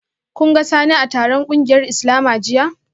Kun ga Sani a taron kungiyar Islama jiya?